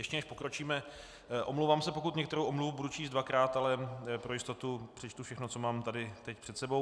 Ještě než pokročíme, omlouvám se, pokud některou omluvu budu číst dvakrát, ale pro jistotu přečtu všechno, co mám tady teď před sebou.